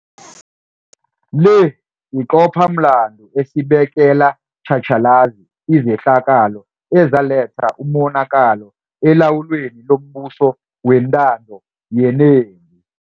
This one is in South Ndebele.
Le yiqophamlando esibekela tjhatjhalazi izehlakalo ezaletha umonakalo elawulweni lombuso wentando yenengi.